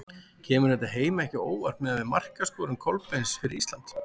Kemur þetta Heimi ekki á óvart miðað við markaskorun Kolbeins fyrir Ísland?